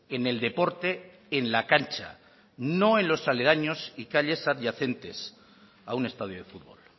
en el deporte en la cancha no en los aledaños y calles adyacentes a un estadio de fútbol